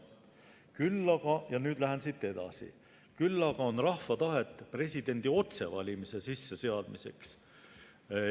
Küll aga – ja nüüd ma lähen siit edasi – on rahval tahet presidendi otsevalimise sisseseadmiseks.